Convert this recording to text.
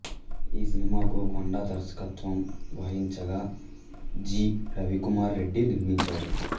ఈ సినిమాకు కొండా దర్శకత్వం వహించగా జి రవికుమార్ రెడ్డి నిర్మించాడు